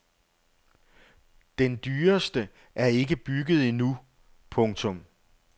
Den dyreste er ikke bygget endnu. punktum